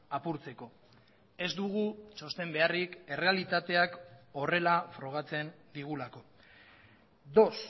apurtzeko ez dugu txosten beharrik errealitateak horrela frogatzen digulako dos